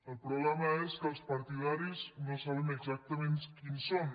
el problema és que els partidaris no sabem exactament quins són